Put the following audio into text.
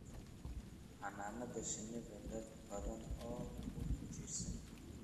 Xannaanada shinnida dad badan baa ku tiirsan